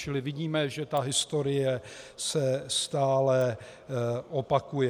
Čili vidíme, že ta historie se stále opakuje.